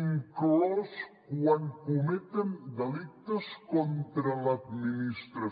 inclús quan cometen delictes contra l’administració